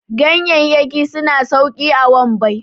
gayayyaki suna sauki a wambai